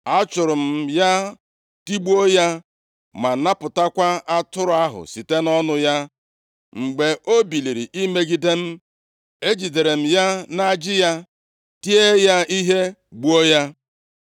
achụụrụ m ya, tigbuo ya ma napụtakwa atụrụ ahụ site nʼọnụ ya. Mgbe o biliri imegide m, ejidere m ya nʼajị ya, tie ya ihe, gbuo ya.